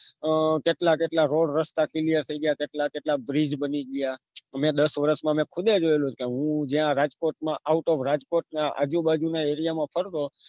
અ કેટલા કેટલા રોડ રસ્તા ત્યાર થઇ ગયા કેટલા કેટલા bridge બની ગયા મેં દસ વરસ માં મેં ખુદ એ જોયેલું છે હું જ્યાં રાજકોટ માં આવતો રાજકોટના આજુબાજુ ના એરિયા મા ફરતો